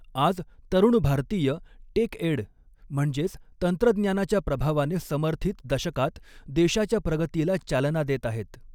आज, तरुण भारतीय टेकएड म्हणजेच तंत्रज्ञानाच्या प्रभावाने समर्थित दशकात देशाच्या प्रगतीला चालना देत आहेत.